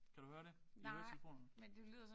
Kan du høre det? I høretelefonerne